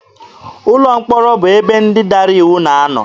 Ụlọ mkpọrọ bụ ebe ndị dara iwu na-anọ.